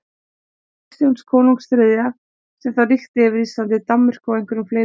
Kristjáns konungs þriðja, sem þá ríkti yfir Íslandi, Danmörku og einhverjum fleiri löndum.